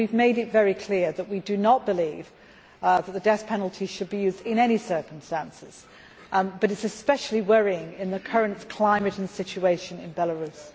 We have made it very clear that we do not believe that the death penalty should be used in any circumstances, but it is especially worrying in the current climate and situation in Belarus.